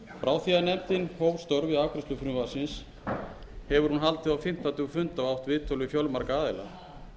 hóf störf við afgreiðslu frumvarpsins hefur hún haldið á fimmta tug funda og átt viðtöl við fjölmarga aðila að